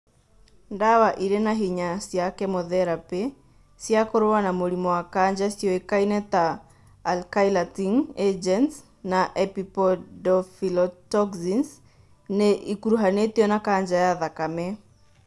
Ndawa irĩ na hinya cia kemotherapĩ cia kũrũa na mũrimũ wa kanja ciũĩkaine ta alkylating agents na epipodophyllotoxins nĩ ikuruhanĩtio na kanja ya thakame